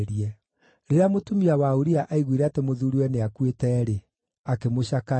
Rĩrĩa mũtumia wa Uria aiguire atĩ mũthuuriwe nĩakuĩte-rĩ, akĩmũcakaĩra.